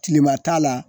Tilema t'a la